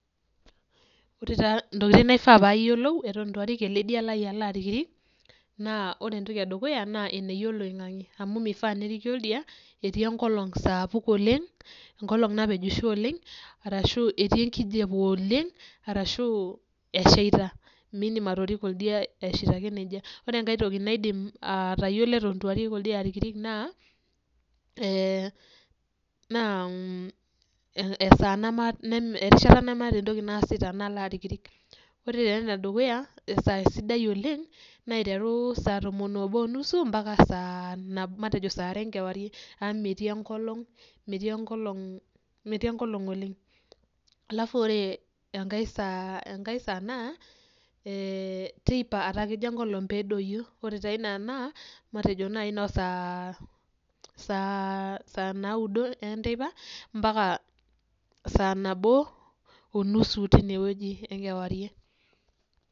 Ore taa ntokiting naifaa payiolou eton itu arik ele dia lai alo arikrik, naa ore entoki edukuya, naa eneyia oloing'ang'e. Amu mifaa neriki oldia, etii enkolong sapuk oleng, enkolong napejisho oleng, arashu etii enkijape oleng, arashu eshaita. Midim atoriko oldia eshaita ake nejia. Ore enkae toki naidim atayiolo eton itu arik oldia arikrik naa, naa esaa erishata nemaata entoki naasita nalo arikrik. Ore taa enedukuya, esaa sidai oleng, naa aiteru saa tomon obo onusu mpaka saa matejo sare enkewarie. Amu metii enkolong, metii enkolong oleng. Alafu ore enkae saa, enkae saa naa, teipa etaa kejo enkolong pedoyio. Ore taa ina naa, matejo nai nosaa, saa naudo enteipa, mpaka sanabo onusu tinewueji enkewarie.